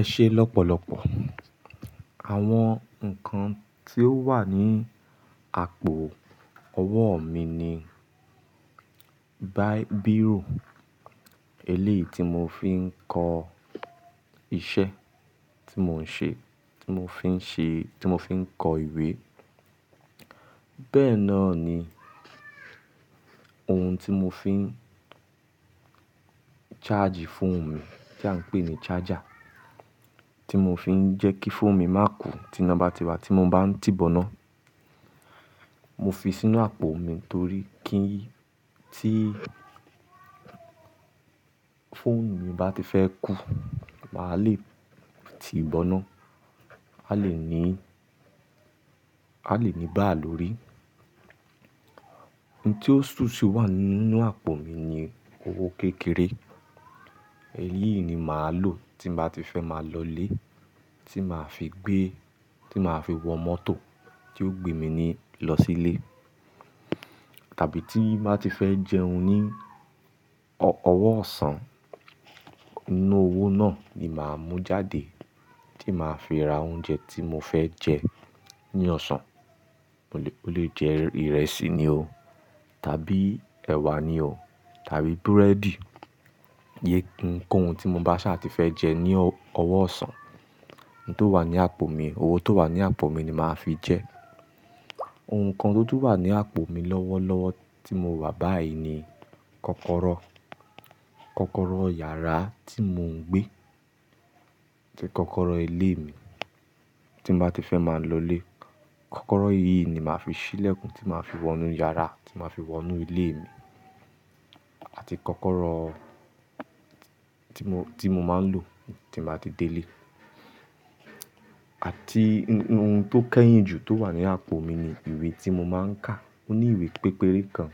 Ẹ ṣe lọ́pọ̀lọpọ̀. Àwọn ǹkan tí ó wà ní àpò ọwọ́ mi ni biro, eléyìí tí mo fi ń kọ iṣẹ́ tí mò ń ṣe, tí mo fi ń ṣe, tí mo fi ń kọ ìwé. Bẹ́ẹ̀ náà ni ohun tí mo fi ń ṣáàjì fóònù mi tí à ń pè ní charge, tí mo fi ń jẹ́ kí fóònù mi má kú tína bá ti wa tí mo bá ń ti bọ́nà. Mo fi sínú àpò mi torí kí tí fóònù mi báti fẹ́ kú, màá le ti ìbọná, a lè ní, a lè ní bá lórí. Ohun tí ó ṣú ṣú wà nínú àpò mi ni owó kékeré. Eléyìí ni màá lò tí màá ti fẹ́ máa lọlé, tí màá fi gbé, tí màá fi wọ mọ́tò tí ó gbe mi ni lọ sílé. Tàbí tí màá ti fẹ́ jẹun ní ọwọ́ ọ̀sán, inú owó náà ni màá mú jáde tí màá fi ra oúnjẹ tí mo fẹ́ jẹ ní ọ̀sán. Ó lè jẹ ìrẹsì ni o, tàbí ẹ̀wà ni o, tàbí búrẹ́dì, ye nkan ohun tí mo bá ṣa ti fẹ́ jẹ ní ọwọ́ ọ̀sán. Ohun tó wà ní àpò mi, owó tó wà ní àpò mi ni màá fi jẹ ẹ́. Ohun kan tó tún wà ní àpò mi lọ́wọ́lọ́wọ́ tí mo wà báyìí ni kọ́kọ́rọ́. Kọ́kọ́rọ́ yàrá tí mò ń gbé, kọ́kọ́rọ́ ilé mi tí màá ti fẹ́ máa lọlé. Kọ́kọ́rọ́ yìí ni màá fi ṣílẹ̀kùn, tí màá fi wọnú yàrá, tí màá fi wọnú ilé mi àti kọ́kọ́rọ́ tí mo, tí mo máa ń lò tí màá ti délé. Àti ohun tó kẹ́yìn jù tó wà ní àpò mi ni ìwé tí mo máa ń kà. Ó ní ìwé pépéré kan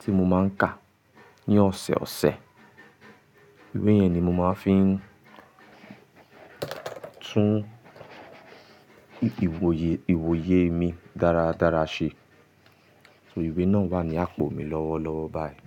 tí mo máa ń kà ní ọ̀sẹ̀ ọ̀sẹ̀. Ìwé yẹn ni mo máa ń fi tún ìwòye, ìwòye mi dára dára ṣe. Ìwé náà wà ní àpò mi lọ́wọ́lọ́wọ́ báyìí.